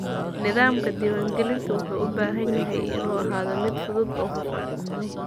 Nidaamka diiwaangelintu wuxuu u baahan yahay inuu ahaado mid fudud oo hufan.